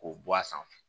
K'o bɔ a sanfɛ